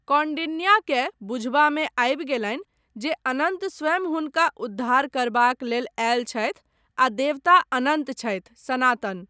कौण्डिन्याकेँ बुझबामे आबि गेलनि जे अनन्त स्वयं हुनका उद्धार करबाक लेल आयल छथि आ देवता अनन्त छथि, सनातन।